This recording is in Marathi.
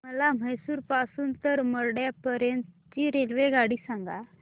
मला म्हैसूर पासून तर मंड्या पर्यंत ची रेल्वेगाडी सांगा